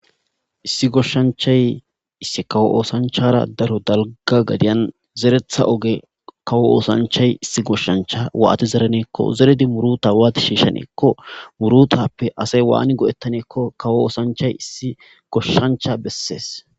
Issi goshshanchay issi kawo oosanchara daro dalga gadiyan zeretha oge kawo oosanchay issi goshshancha waati zereneekko zeredi muruta waati shiishaneekko murutappe asay waani godettaneekko kawo oosanchay issi goshshancha bessees